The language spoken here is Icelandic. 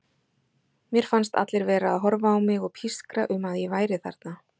Mér fannst allir vera að horfa á mig og pískra um að ég væri þarna.